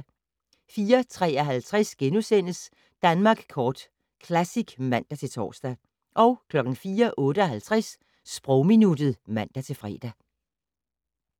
04:53: Danmark Kort Classic *(man-tor) 04:58: Sprogminuttet (man-fre)